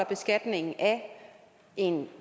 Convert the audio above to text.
beskatningen af en